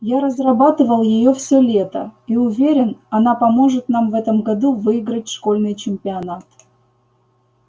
я разрабатывал её все лето и уверен она поможет нам в этом году выиграть школьный чемпионат